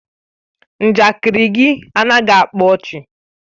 Njakịrị gị anaghị akpa ọchị.